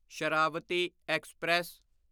Sharavathi express